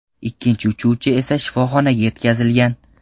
Ikkinchi uchuvchi esa shifoxonaga yetkazilgan.